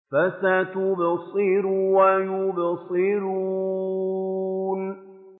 فَسَتُبْصِرُ وَيُبْصِرُونَ